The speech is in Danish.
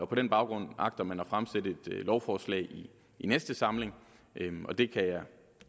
på den baggrund agter man at fremsætte lovforslag i næste samling og det kan jeg